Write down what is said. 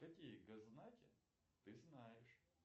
какие гос знаки ты знаешь